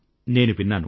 నేను విన్నాను